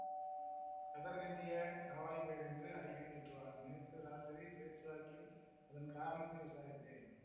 கதர் கட்டிய காவாலிப் பயல் என்று அடிக்கடி திட்டுவார் நேத்து ராத்திரி பேச்சுவாக்கில் அதன் காரணத்தை விசாரித்தேன்